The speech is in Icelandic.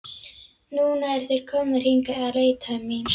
Núna eru þeir komnir hingað að leita mín.